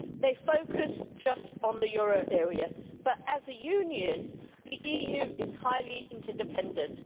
They focus just on the euro area, but as a Union the EU is highly interdependent.